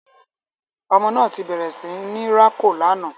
Ọmọ náà tí bẹrẹ sí ní rako lànà